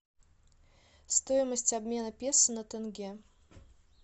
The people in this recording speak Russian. стоимость обмена песо на тенге